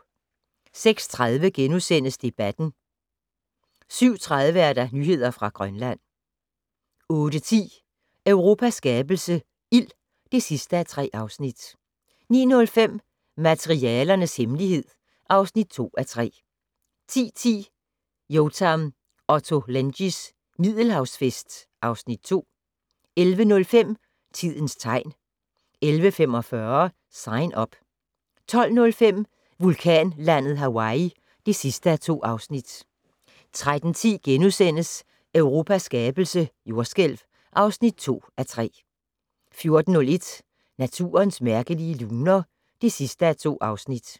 06:30: Debatten * 07:30: Nyheder fra Grønland 08:10: Europas skabelse - ild (3:3) 09:05: Materialernes hemmelighed (2:3) 10:10: Yotam Ottolenghis Middelhavsfest (Afs. 2) 11:05: Tidens tegn 11:45: Sign Up 12:05: Vulkanlandet Hawaii (2:2) 13:10: Europas skabelse - jordskælv (2:3)* 14:01: Naturens mærkelige luner (2:2)